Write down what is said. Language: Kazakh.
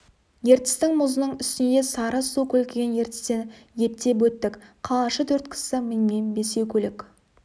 ертістің мұзының үстіне де сары су көлкіген ертістен ептеп өттік қалашы төрт кісі менімен бесеу көлік